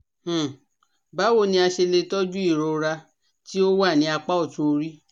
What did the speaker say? um Báwo ni a ṣe le tọju irora ti o wa ni apá otun ori?